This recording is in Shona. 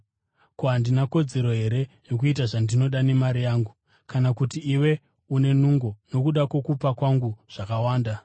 Ko, handina kodzero here yokuita zvandinoda nemari yangu? Kana kuti iwe une godo nokuda kwokupa kwangu zvakawanda.’